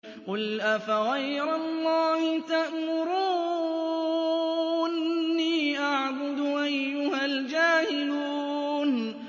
قُلْ أَفَغَيْرَ اللَّهِ تَأْمُرُونِّي أَعْبُدُ أَيُّهَا الْجَاهِلُونَ